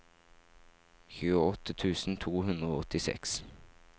tjueåtte tusen to hundre og åttiseks